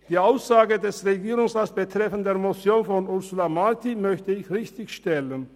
Die Aussage des Regierungsrats betreffend die Motion von Ursula Marti möchte ich richtigstellen.